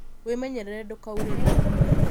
Wĩmenyerere ndũkaurĩrwo